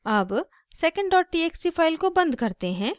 अब secondtxt file को बंद करते हैं